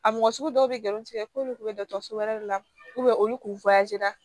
A mɔgɔ sugu dɔw bɛ galon tigɛ k'olu kun bɛ dɔgɔtɔrɔso wɛrɛ de la olu tun